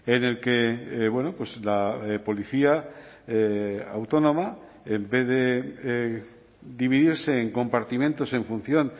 en el que la policía autónoma en vez de dividirse en compartimentos en función